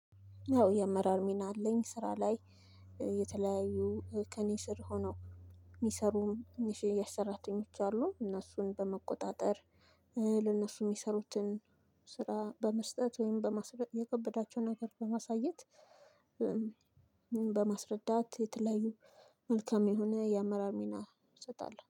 አዎ የአመራር ሚና አለኝ ስራ ላይ የተለያዩ ከእኔ ስር ሆነው የሚሰሩም ትንሽዬ ሰራተኞች አሉኝ እነሱን በመቆጣጠር። ለነሱ የሚሰሩትን ስራ በመስጠት ወይም በማስረዳት የከበዳቸው ነገር በማሳየት። በማስረዳት የተለያዩ መልካም የሆነ የአመራር ሚና እሰጣለሁ